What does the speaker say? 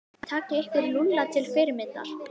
Takið ykkur Lúlla til fyrirmyndar.